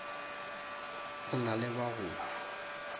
o na le ba go